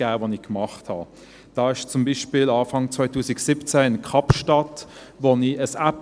Da verwendete ich beispielsweise Anfang 2017 in Kapstadt eine App.